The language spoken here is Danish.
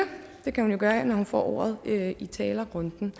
det kan hun jo gøre når hun får ordet i talerrunden